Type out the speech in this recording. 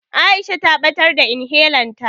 Aisha ta ɓatar da inhelan ta.